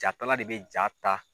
Jatala de bɛ jaa ta.